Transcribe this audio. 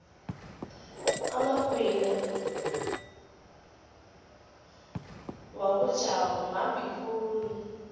amagwinya wakojabu mambi khulu